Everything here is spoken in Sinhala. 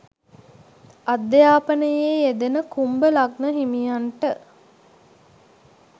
අධ්‍යාපනයේ යෙදෙන කුම්භ ලග්න හිමියන්ට